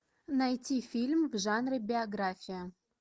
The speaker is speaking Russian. найти фильм в жанре биография